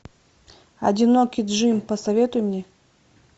одинокий джим посоветуй мне